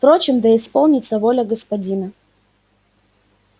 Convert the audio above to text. впрочем да исполнится воля господина